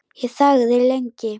Ég þagði lengi.